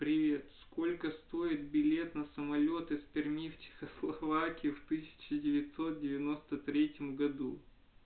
привет сколько стоит билет на самолёт из перми в чехословакию в тысячу девятьсот девяносто третьем году